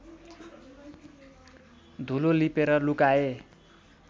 धुलो लिपेर लुकाए